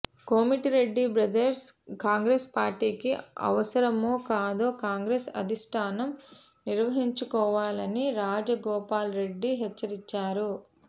Komatireddy brothers Congress పార్టీకి అవసరమో కాదో కాంగ్రెస్ అధిష్టానం నిర్ణహించుకోవలని రాజగోపాల్రెడ్డి హెచ్చరించారు